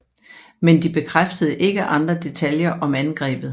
Men de bekræftede ikke andre detaljer om angrebet